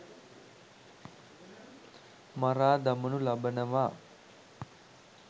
මරා දමනු ලබනවා.